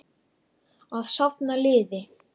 Sumir hafa aldrei verið til.